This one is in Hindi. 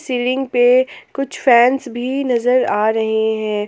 सीलिंग पे कुछ फैंस भी नजर आ रहे हैं।